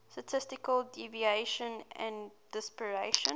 statistical deviation and dispersion